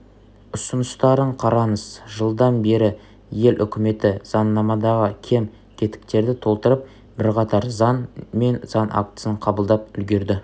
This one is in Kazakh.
ұсыныстарын қараңыз жылдан бері ел үкіметі заңнамадағы кем-кетіктерді толтырып бірқатар заң мен заң актісін қабылдап үлгерді